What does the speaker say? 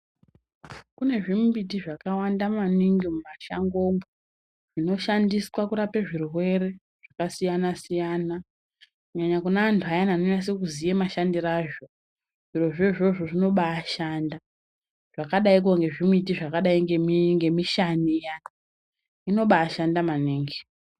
Kune zvimimbiti zvinoshanda maningi mumashangomwo zvinoshandiswa kurape zvirwere zvakasiyana-siyana kunyanya zvirozvo izvozvo zvakadai ngezvibiti ngemishani iyana inobashanda maningi.